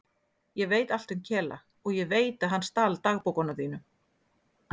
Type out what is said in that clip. Ég veit allt um Kela og ég veit að hann stal dagbókunum þínum.